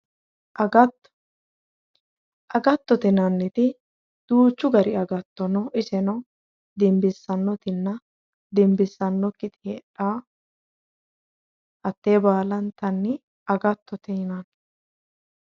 Agatto agattote yinnanniti duuchu gari agatto no iseno dinbisanotinna dinbisanokkitta hate baalla agattote yaate.